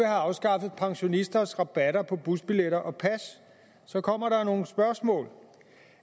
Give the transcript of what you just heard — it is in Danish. afskaffet pensionisters rabatter på busbilletter og pas så kommer der nogle spørgsmål